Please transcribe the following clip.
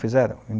fizeram